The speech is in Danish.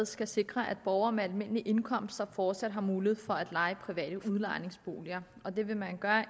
skal sikre at borgere med almindelige indkomster fortsat har mulighed for at leje private udlejningsboliger og det vil man gøre